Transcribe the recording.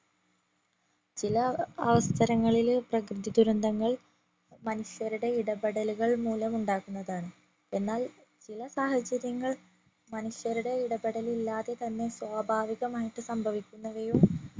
ചില അവസരങ്ങളില് പ്രകൃതിദുരന്തങ്ങൾ മനുഷ്യരുടെ ഇടപെടലുകൾ മൂലം ഉണ്ടാകുന്നതാണ് എന്നാൽ ചില സാഹചര്യങ്ങൾ മനുഷ്യരുടെ ഇടപെടൽ ഇല്ലാതെ തന്നെ സ്വാഭാവികമായിട്ടു സംഭവിക്കുന്നവയും